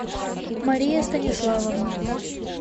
мария станиславовна